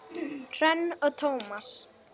Hrönn og Tómas.